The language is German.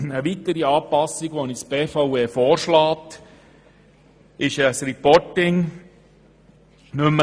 Eine weitere Anpassung, die uns die BVE vorschlägt, betrifft das «Reporting».